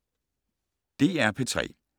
DR P3